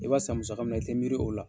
I b'a san musaka min na i tɛ miiri o la.